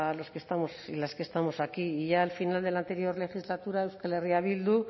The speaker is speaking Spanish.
los que estamos y las que estamos aquí y ya al final de la anterior legislatura euskal herria bildu